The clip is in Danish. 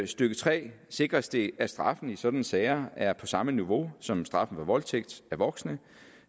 stykke tre sikres det at straffen i sådanne sager er på samme niveau som straffen for voldtægt af voksne